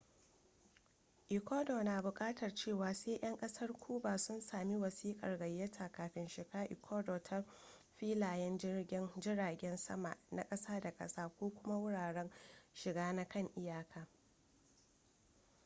ecuador na bukatar cewa sai 'yan kasar cuba sun samu wasikar gayyata kafin shiga ecuador ta filayen jiragen sama na ƙasa da ƙasa ko kuma wuraren shiga na kan iyaka